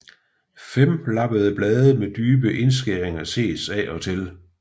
Femlappede blade med dybe indskæringer ses af og til